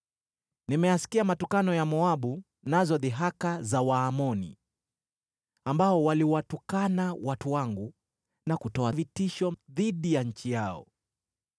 “Nimeyasikia matukano ya Moabu nazo dhihaka za Waamoni, ambao waliwatukana watu wangu na kutoa vitisho dhidi ya nchi yao.